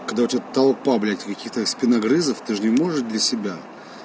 когда у тебя толпа блять каких-то спиногрызов ты ж не можешь без себя